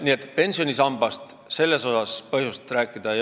Nii et selles osas ei ole põhjust pensionisambast rääkida.